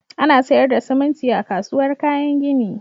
Ana sayar da siminti a kasuwar kayan gini.